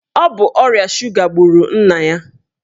Ọ bụ ọrịa suga gburu nna ya.